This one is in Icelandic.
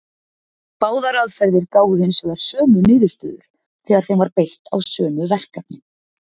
Báðar aðferðir gáfu hins vegar sömu niðurstöður þegar þeim var beitt á sömu verkefnin.